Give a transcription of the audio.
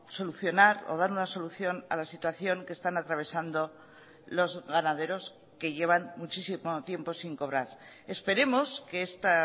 solucionar o dar una solución a la situación que están atravesando los ganaderos que llevan muchísimo tiempo sin cobrar esperemos que esta